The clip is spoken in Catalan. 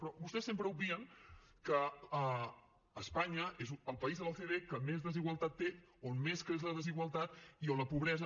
però vostès sempre obvien que espanya és el país de l’ocde que més desigualtat té on més creix la desigualtat i on la pobresa